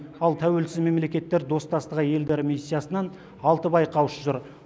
ал тәуелсіз мемлекеттер достастығы елдері миссиясынан алты байқаушы жүр